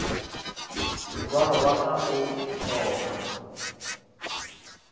morwalo wa ka o thoma